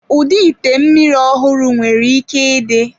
Ụdị ite mmiri ọhụrụ nwere ike ịdị.